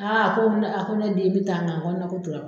a ko na a ko ne den n bɛ taa nga n kɔnɔnako tora n kɔnɔ.